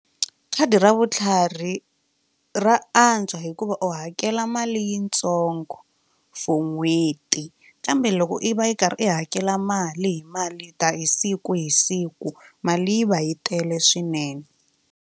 Khadi ra vutlhari ra antswa hikuva u hakela mali yitsongo for n'hweti kambe loko i va yi karhi i hakela mali hi mali hi siku hi siku mali yi va yi tele swinene.